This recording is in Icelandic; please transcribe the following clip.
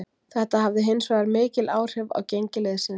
Þetta hafði hinsvegar mikil áhrif á gengi liðsins.